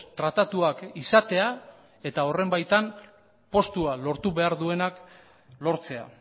tratatuak izatea eta horren baitan postuak lortu behar duenak lortzea